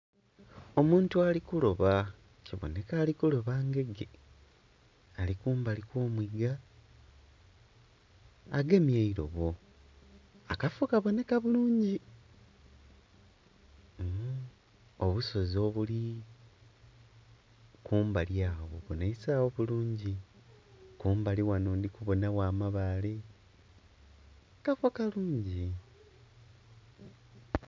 Omuntu ali kuloba kibonheka ali kuloba ngege, ali kumbali kw'omwiga agemye eilobo. Akafo kabonheka bulungi. Obusozi obuli kumbali agho bubonheisagho bulungi. Kumbali ghano ndhi kubonagho amabaale, kafo kalungi.